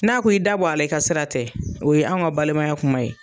N'a ko i da bɔ a la i ka sira tɛ o ye anw ka balimaya kuma ye.